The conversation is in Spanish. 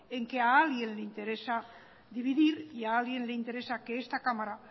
en que a alguien le interesa dividir y a alguien le interesa que esta cámara